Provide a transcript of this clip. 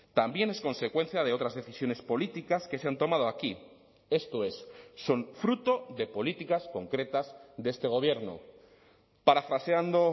también es consecuencia de otras decisiones políticas que se han tomado aquí esto es son fruto de políticas concretas de este gobierno parafraseando